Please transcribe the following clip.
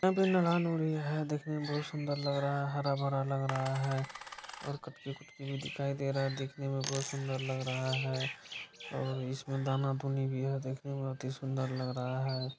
यहाँ पे महरान हो रही है देखने में बहुत सुंदर लग रहा है हरा-भरा लग रहा है और कटकी-कुटकी भी दिखाई दे रहा है देखने में बहुत सुंदर लग रहा है और इसमें दाना दुनी भी है देखने में अति सुंदर लग रहा है।